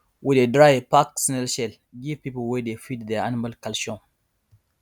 we dey dry pack snail shell give people wey dey feed their animal calcium